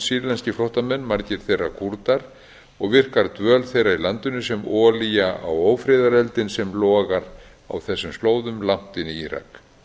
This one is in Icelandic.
sýrlenskir flóttamenn margir þeirra kúrdar og virkar dvöl þeirra í landinu sem olía á ófriðareldinn sem logar á þessum slóðum langt inn í írak